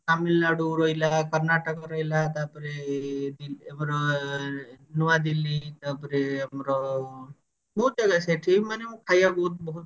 ତାମିଲନାଡୁ ରହିଲା କର୍ଣ୍ଣାଟକ ରହିଲା ତାପରେ ଏ ଆମର ନୂଆ ଦିଲ୍ଲୀ ତାପରେ ଆମର ବହୁତ ଜାଗା ସେଠି ମାନେ ମୁଁ ଖାଇବା ବହୁତ ବହୁତ